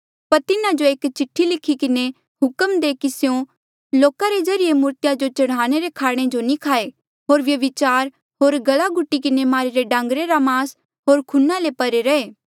पर तिन्हा जो एक चिठ्ठी लिखी किन्हें हुक्म दे कि स्यों लोका रे ज्रीए मूर्तिया जो चढ़ाई रे खाणे जो नी खाये होर व्यभिचार होर गला घुटी किन्हें मारिरे डांगरे रा मास होर खूना ले परे रैहे